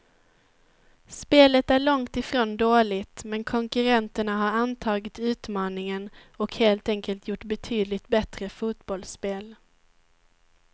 Spelet är långt ifrån dåligt, men konkurrenterna har antagit utmaningen och helt enkelt gjort betydligt bättre fotbollsspel.